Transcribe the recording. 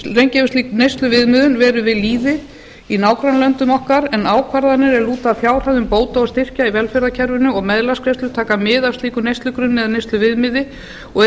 lengi hefur slík neysluviðmiðun verið við lýði í nágrannalöndum okkar en ákvarðanir út af fjárhæðum bóta og styrkja í velferðarkerfinu og meðlagsgreiðslur taka mið af slíkum neyslugrunni eða neysluviðmiði og